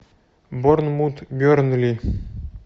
борнмут бернли